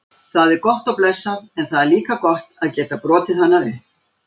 Það er gott og blessað en það er líka gott að geta brotið hana upp.